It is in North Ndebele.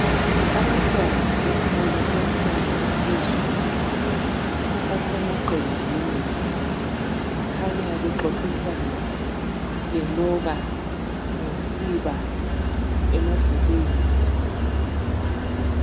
Abantwana besikolo semfundo ephezulu, basemaqenjini. Kukhanya bexoxisana, beloba ngosiba emabhukwini.